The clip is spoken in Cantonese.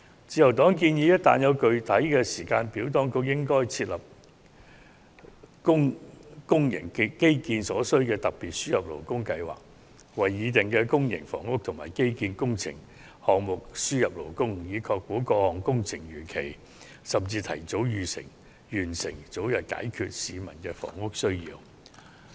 自由黨建議一旦得出具體時間表，便應訂立為公營基建而設的特別輸入勞工計劃，就建議的公營房屋及基建工程項目輸入勞工，以確保各項工程能如期甚至提早完成，早日解決市民的房屋需要。